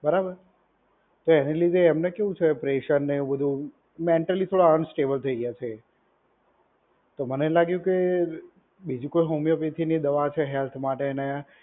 બરાબર? તો એની લીધે એમને કેવું છે પ્રેશર ને એવું બધુ મેન્ટલી થોડા અનસ્ટેબલ કઈ વધી ગયા છે. તો મને એમ લાગ્યું કે બીજી કોઈ હોમિયોપેથીની દવા છે, હેલ્થ માટે અને